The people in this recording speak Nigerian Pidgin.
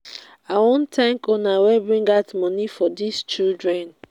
i wan thank una wey bring out money for dis children.